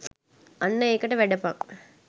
අන්න එකට වැඩපන්